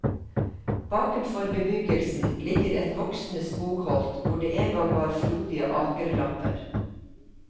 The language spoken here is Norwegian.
Bakenfor bebyggelsen ligger et voksende skogholt hvor det engang var frodige akerlapper.